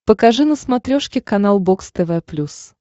покажи на смотрешке канал бокс тв плюс